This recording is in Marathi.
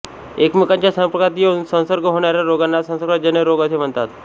एकमेकांच्या संपर्कात येऊन संसर्ग होणाऱ्या रोगांना संसर्गजन्य रोग असे म्हणतात